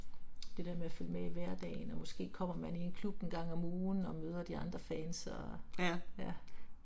Det der med at følge med i hverdagen, og måske kommer man i en klub en gang om ugen og møder de andre fans og, ja